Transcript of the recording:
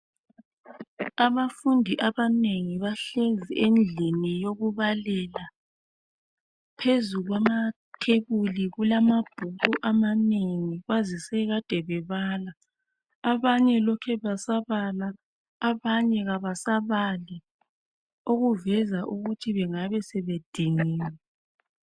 Abafundi abanengi bahlezi endlini yokubalela phezu kwamathebuli kulamabhuku amanengi kwazise kade bebala, abanye lokhe besabala abanye abasabali okuveza ukuthi bengabe sebediniwe.